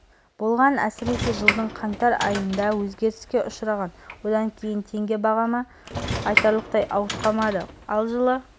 болған әсіресе жылдың қаңтар айында өзгеріске ұшыраған одан кейін теңге бағамы айтарлықтай ауытқымады ал жылы